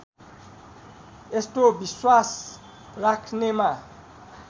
यस्तो विश्वास राख्नेमा